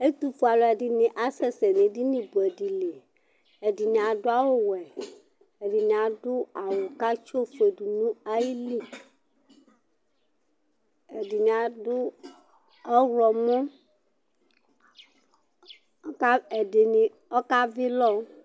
Ɛtʊfʊe alʊɛɗɩnɩ aƙasɛ nʊ eɗɩnɩ ɓʊɛɗɩlɩ ɛɗɩnɩ aɗʊ awʊ ɔwɛ ɛɗɩnɩ aɗʊ awʊ atsɩ oʋʊeɗʊnʊ aƴɩlɩ ɛɗɩnɩ aɗʊ mʊtɩsɔƙɔ ɛɗɩnɩ ɔƙaʋɩ ɩlɔ